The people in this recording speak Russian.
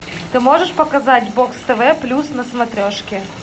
ты можешь показать бокс тв плюс на смотрешке